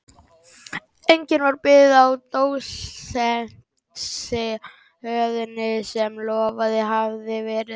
Einnig varð bið á dósentsstöðunni sem lofað hafði verið.